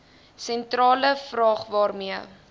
sentrale vraag waarmee